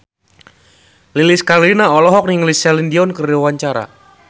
Lilis Karlina olohok ningali Celine Dion keur diwawancara